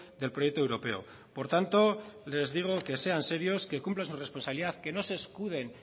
del proyecto europeo por tanto les digo que sean serios que cumplan su responsabilidad que no se escuden